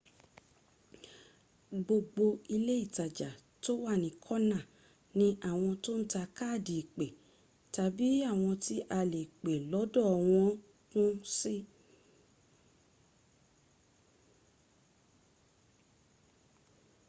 gbogbo ilé ìtajà tó wà ní kọ́nà ní àwọn tó ń ta káàdì ìpé tàbí àwọn tí a lè pè lọ́dọ̀ wan kún sí